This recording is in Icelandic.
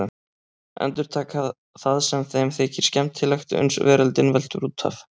Endurtaka það sem þeim þykir skemmtilegt uns veröldin veltur út af.